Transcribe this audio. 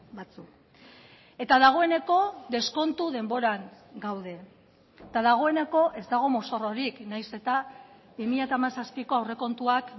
batzuk eta dagoeneko deskontu denboran gaude eta dagoeneko ez dago mozorrorik nahiz eta bi mila hamazazpiko aurrekontuak